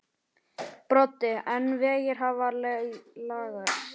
Broddi: En vegir hafa laskast?